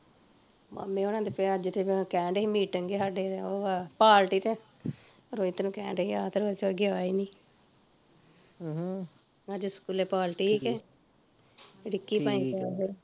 ਮਾਮੇ ਹੁਣਾ ਦੇ ਪਿਆ ਅੱਜ ਤੇ ਕਹਿਣ ਡਏ ਸੀ meeting ਆ ਸਾਡੇ ਓਹ ਆ party ਤੇ, ਰੋਹਿਤ ਨੂੰ ਕਹਿਣ ਡਏ ਸੀ ਆ ਤੇ ਏਹ ਤੇ ਗਿਆ ਈ ਨੀ ਅਹ ਅੱਜ ਸਕੂਲੇ ਪਾਲਟੀ ਸੀ ਕੇ ਰਿਕੀ ਭਾਂਵੇ ਗਿਆ ਫਿਰ